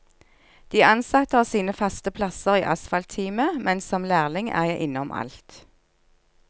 De ansatte har sine faste plasser i asfaltteamet, men som lærling er jeg innom alt.